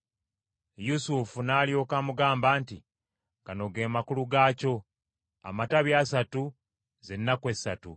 Yusufu n’alyoka amugamba nti, “Gano ge makulu gaakyo: amatabi asatu, ze nnaku esatu;